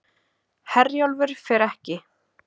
Herjólfur fer ekki